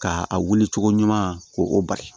Ka a wuli cogo ɲuman ko o bari